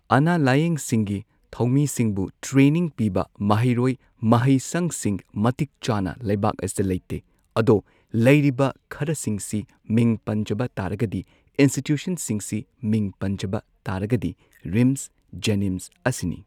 ꯑꯅꯥ ꯂꯥꯌꯦꯡꯁꯤꯡꯒꯤ ꯊꯧꯃꯤꯁꯤꯡꯕꯨ ꯇ꯭ꯔꯦꯅꯤꯡ ꯄꯤꯕ ꯃꯍꯩꯔꯣꯏ ꯃꯍꯩꯁꯪꯁꯤꯡ ꯃꯇꯤꯛ ꯆꯥꯅ ꯂꯩꯕꯥꯛ ꯑꯁꯤꯗ ꯂꯩꯇꯦ ꯑꯗꯣ ꯂꯩꯔꯤꯕ ꯈꯔꯁꯤꯡꯁꯤ ꯃꯤꯡ ꯄꯟꯖꯕ ꯇꯥꯔꯒꯗꯤ ꯏꯟꯁꯇꯤꯇ꯭ꯌꯨꯁꯟꯁꯤꯡꯁꯤ ꯃꯤꯡ ꯄꯟꯖꯕ ꯇꯥꯔꯒꯗꯤ ꯔꯤꯝꯁ ꯖꯦꯅꯤꯝꯁ ꯑꯁꯤꯅꯤ꯫